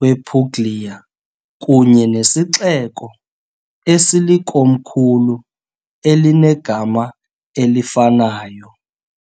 wePuglia kunye nesixeko esilikomkhulu elinegama elifanayo .